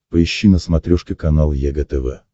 поищи на смотрешке канал егэ тв